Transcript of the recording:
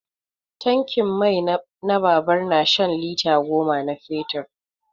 Tankin mai na babur na shan lita goma na fetur.